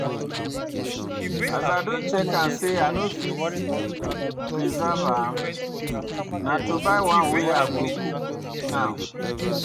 As I don check am say i no fit preserve am, na to buy one wey I go cook now.